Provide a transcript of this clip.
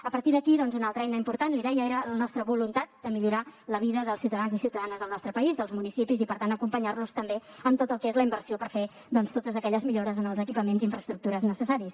a partir d’aquí doncs una altra eina important li deia era la nostra voluntat de millorar la vida dels ciutadans i ciutadanes del nostre país dels municipis i per tant acompanyar los també amb tot el que és la inversió per fer totes aquelles millores en els equipaments i infraestructures necessaris